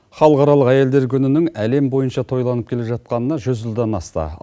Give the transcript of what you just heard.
халықаралық әйелдер күнінің әлем бойынша тойланып келе жатқанына жүз жылдан асты